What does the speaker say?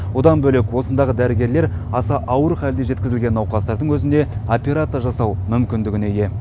одан бөлек осындағы дәрігерлер аса ауыр халде жеткізілген науқастардың өзіне операция жасау мүмкіндігіне ие